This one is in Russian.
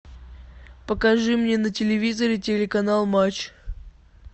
покажи мне на телевизоре телеканал матч